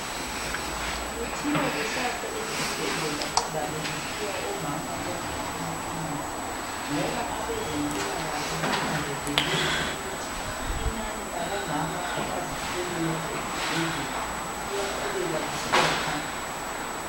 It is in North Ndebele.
Kuthiwa kusasa esibhedlela kuzabe kuphiwa omama bonke amaphilizi ngoba abeze mpilakahle bananzelele ukuthi inani labo mama abazithweleyo esibhedlela liyaqhubeka lisiya phambili.